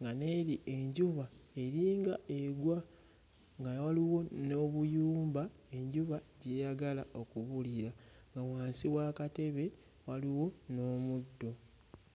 nga n'eri enjuba eringa egwa nga waliwo n'obuyumba enjuba gy'eyagala okubulira nga wansi w'akatebe waliwo n'omuddo.